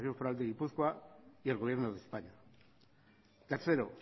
foral de gipuzkoa y el gobierno de españa tercero